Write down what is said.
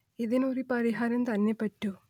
ഇതിന് ഒരു പരിഹാരം തന്നെ പറ്റൂ